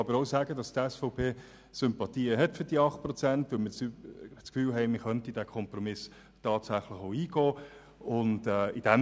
Ich kann aber bekanntgeben, dass die SVP-Fraktion für die 8 Prozent Sympathien hat, weil wir das Gefühl haben, wir könnten diesen Kompromiss tatsächlich auch eingehen.